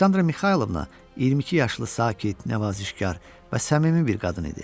Aleksandra Mixaylovna 22 yaşlı sakit, nəvazişkar və səmimi bir qadın idi.